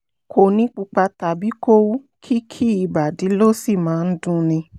um kò ní pupa tàbí kó wú kìkì ìbàdí ló sì máa ń dunni